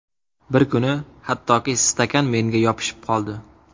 Bir kuni hattoki stakan menga yopishib qoldi.